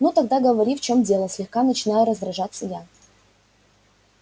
ну тогда говори в чём дело слегка начинаю раздражаться я